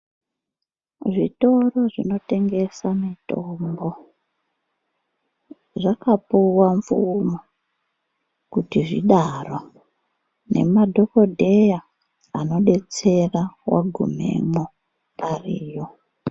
Zvitoro zvinotengesa mitombo zvakapuva mvumo kuti zvidaro, nemadhogodheya anobetsera vagumemo ariyo.